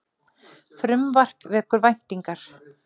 Frumvarp vekur væntingar